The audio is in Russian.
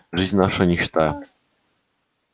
жизнь наша нищета